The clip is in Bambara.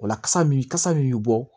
Ola kasa min kasa min bi bɔ